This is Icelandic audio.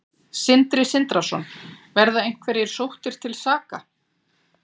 Sindri Sindrason: Verða einhverjir sóttir til saka?